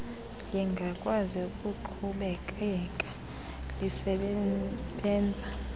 lingakwazi ukuqhubekeka lisebenza